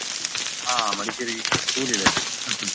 ಹಾ ಮಡಿಕೇರಿ cool ಇದೆ .